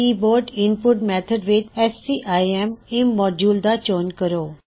keyboard input method ਵਿੱਚ scim immodule ਦਾ ਚੋਣ ਕਰੋ